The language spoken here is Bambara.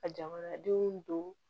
Ka jamanadenw don